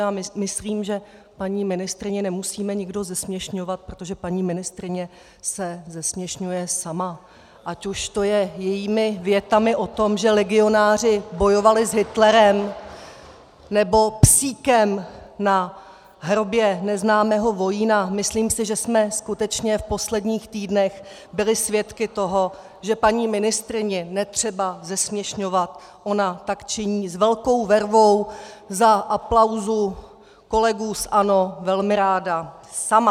Já myslím, že paní ministryni nemusíme nikdo zesměšňovat, protože paní ministryně se zesměšňuje sama, ať už to je jejími větami o tom, že legionáři bojovali s Hitlerem, nebo psíkem na hrobě neznámého vojína, myslím si, že jsme skutečně v posledních týdnech byli svědky toho, že paní ministryni netřeba zesměšňovat, ona tak činí s velkou vervou za aplausu kolegů z ANO velmi ráda sama.